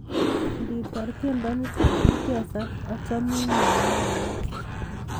Ngitaar tyendo nito ichesan achamin malaikayat